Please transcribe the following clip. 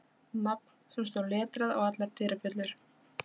Ritstjóri Ísafoldar verður nú að gefa hæstarétti einhverja ráðningu